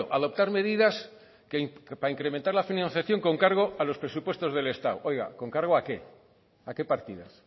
adoptar medidas para incrementar la financiación con cargo a los presupuestos del estado oiga con cargo a qué a qué partidas